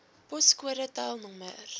poskode tel nr